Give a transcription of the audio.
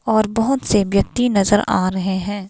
और बहुत से व्यक्ति नजर आ रहे हैं.